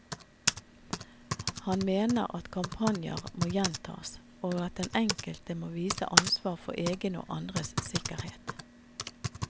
Han mener at kampanjer må gjentas, og at den enkelte må vise ansvar for egen og andres sikkerhet.